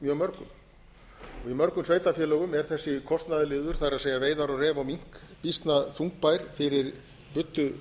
mjög mörgum í þessum sveitarfélögum er þessi kostnaðarliður það er veiðar á ref og mink býsna þungbær fyrir buddu